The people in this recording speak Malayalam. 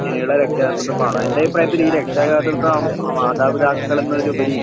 ഇനിയുള്ള രക്ഷാകർതൃത്വം എൻറെ അഭിപ്രായത്തിൽ ഈ രക്ഷകർതൃത്വം മാതാപിതാക്കൾ എന്നതിലുപരി